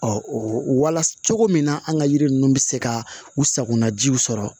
wala cogo min na an ka yiri ninnu bɛ se ka u sagona jiw sɔrɔ